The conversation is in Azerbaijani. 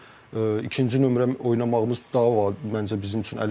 Ona görə ikinci nömrə oynamağımız daha məncə bizim üçün əlverişlidir.